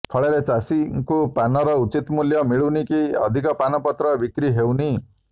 ଫଳରେ ଚାଷୀଙ୍କୁ ପାନର ଉଚିତ ମୂଲ୍ୟ ମିଳୁନି କି ଅଧିକ ପାନପତ୍ର ବିକ୍ରି ହେଉନି